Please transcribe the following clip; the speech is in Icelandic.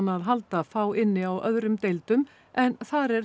að halda fá inni á öðrum deildum en þar er